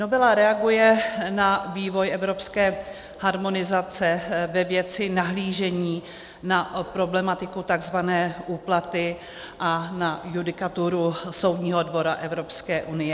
Novela reaguje na vývoj evropské harmonizace ve věci nahlížení na problematiku tzv. úplaty a na judikaturu Soudního dvora Evropské unie.